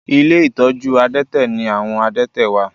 Ilé ìtọ́jú àdẹ́tẹ̀ ni àwọn àdẹ́tẹ̀ wà